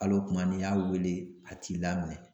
Hal'o kuma n'i y'a wele a t'i laminɛ